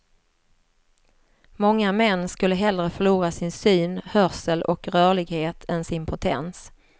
Många män skulle hellre förlora sin syn, hörsel och rörlighet än sin potens.